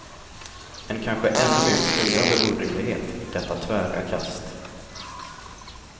En kanske ännu mer skriande orimlighet, detta tvära kast.